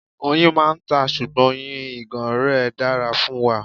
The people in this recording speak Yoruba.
Oyin máa ń ta, ṣùgbọ́n oyin ìgàn rẹ dára fún wa.